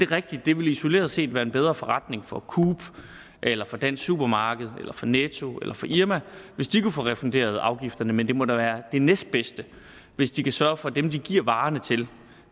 rigtigt det vil isoleret set være en bedre forretning for coop eller for dansk supermarked eller for netto eller for irma hvis de kunne få refunderet afgifterne men det må da være det næstbedste hvis de kan sørge for at dem de giver varerne til